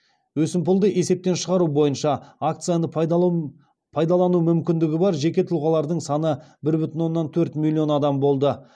өсімпұлды есептен шығару бойынша акцияны пайдалану мүмкіндігі бар жеке тұлғалардың саны бір бүтін оннан төрт миллион адам болды